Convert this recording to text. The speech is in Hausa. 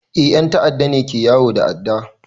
Eh 'yan ta'adda ne ke yawo da adda.